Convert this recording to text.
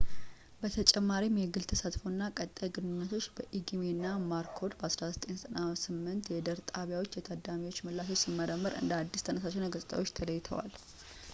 በተጨማሪም የግል ተሳትፎ” እና ቀጣይ ግንኙነቶች” በኢጊሜ እና ማኮርድ 1998 የድርጣቢያዎች የታዳሚዎች ምላሾችን ሲመረምሩ እንደ አዲስ ተነሳሽነት ገጽታዎች ተለይተዋል